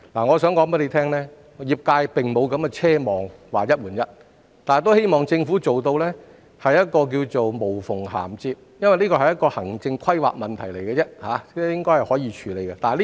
我想告訴局長，業界並不奢望有"一換一"的安排，但他們希望政府能做到"無縫銜接"，因為這屬於行政規劃的問題，應該可以處理。